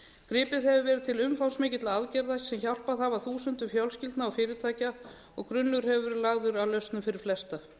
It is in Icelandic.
gripið hefur verið til umtalsmikilla aðgerða sem hjálpað hafa þúsundum fjölskyldna og fyrirtækja og grunnur hefur verið lagður að lausnum fyrir flesta